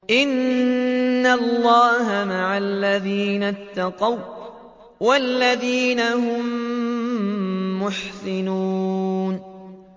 إِنَّ اللَّهَ مَعَ الَّذِينَ اتَّقَوا وَّالَّذِينَ هُم مُّحْسِنُونَ